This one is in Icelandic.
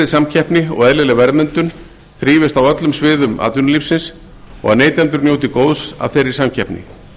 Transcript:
samkeppni og eðlileg verðmyndun þrífist á öllum sviðum atvinnulífsins og að neytendur njóti góðs af þeirri samkeppni